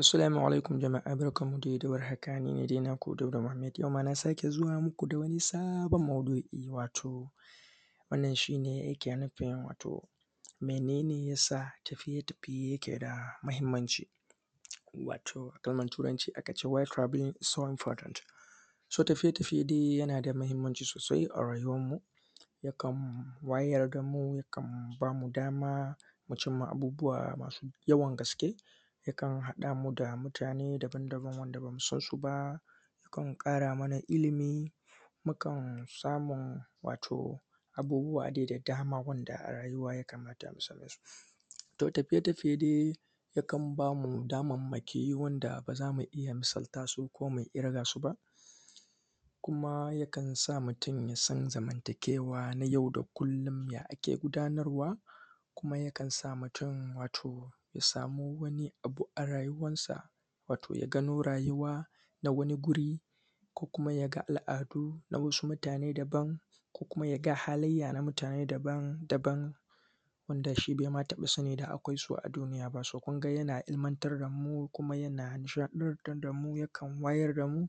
Assolamu alaikum jama’a barkanmu de da warhaka, ni ne dai naku Dauda muhammed, yau ma na sake zuwa muku da wani sabon maudu’i, wato wannan shi ne yake nufin wato, mene ne ya sa tafiye-tafiye yake da mahimmanci. Wato, a kalmar Turanci aka ce ‘wide travelling is so importan’. ‘So’, tafiye-tafiye dai yama da mahimmanci sosai a rayuwanmu, yakan wayar ga mu, yakan ba mu dama mu cim ma bubuwa masu yawan gaske, yakan haɗa mu da mutane dabandaban wanda ba mu san sub a, yakan ƙara mana ilimi, mukan samun, wato abubuwa de da dama wanda a rayuwa ya kamata mu same su. To, tafiye-tafiye de, yakan ba mu damammaki wanda ba za mu iya misalta su ko mi irga su ba. Kuma yakan sa mutun ya san zamantakewa nay au da kullun da ake gudanarwa, kuma yakan sa mutun wato, ya samu wani abu a rayuwansa. Wato, ya gano rayuwa na wani guri ko kuma ya ga al’adu na wasu mutane daban ko kuma ya ga halayya na mutane dabandaban wanda shi be ma taƃa sani da akwai su a duniya ba, “so”, kun ga yana ilimantar da mu kuma yana nishaɗantar da mu yakan wayar da mu.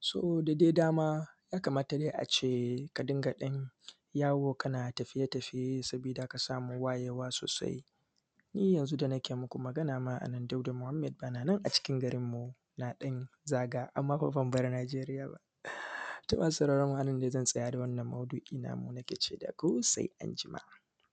‘So’, da de dama, ya kamata de a ce ka dinga ɗan yawo kana tafiye-tafiye saboda ka samu wayewa sosai. Ni yanzu da nake muku magana a nan Dauda muhammed ban a nan a cikin garinmu na ɗan zaga, amma fa ban bar Najeriya ba, to masu sauraron mu a nan ne zan tsaya da wannan maudu’i namu, nake ce da ku se anjima.